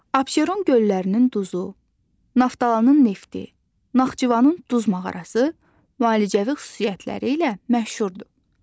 Abşeron göllərinin duzu, Naftalanın nefti, Naxçıvanın duz mağarası müalicəvi xüsusiyyətləri ilə məşhurdur.